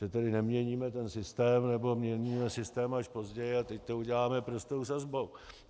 Že tedy neměníme ten systém, nebo měníme systém až později a teď to uděláme prostou sazbou.